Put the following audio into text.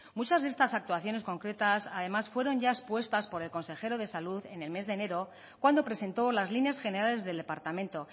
muchas de estas actuaciones concretas además fueron ya expuestas por el consejero de salud en el mes de enero cuando presentó las líneas generales del departamento